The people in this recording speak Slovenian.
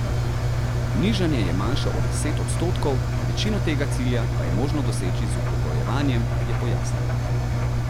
Nižanje je manjše od deset odstotkov, večino tega cilja pa je možno doseči z upokojevanjem, je pojasnil.